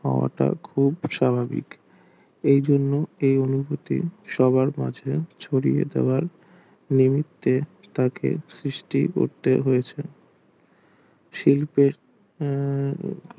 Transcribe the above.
হাত খুব স্বাভাবিক এই জন্য কেবল অনুভূতি হওয়ার মাঝে ছড়িয়ে দেওয়া মুহূর্তে তাকে সৃষ্টি করতে হয়েছে শিল্পের উম